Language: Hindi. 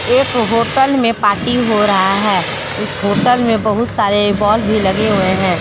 एक होटल में पार्टी हो रहा है उस होटल में बहुत सारे बल्ब भी लगे हुए हैं।